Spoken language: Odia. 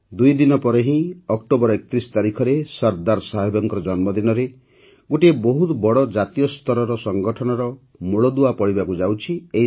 ଦୁଇ ଦିନ ପରେ ହିଁ ଅକ୍ଟୋବର ୩୧ ତାରିଖରେ ସର୍ଦ୍ଦାର ସାହେବଙ୍କ ଜନ୍ମଦିନରେ ହିଁ ଗୋଟିଏ ବହୁତ ବଡ଼ ଜାତୀୟସ୍ତରର ସଂଗଠନର ମୂଳଦୁଆ ପଡ଼ିବାକୁ ଯାଉଛି